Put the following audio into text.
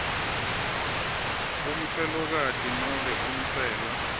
umfelokati nobe umfelwa